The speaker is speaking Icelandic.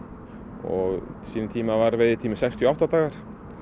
og á sínum tíma var veiðitíminn sextíu og átta dagar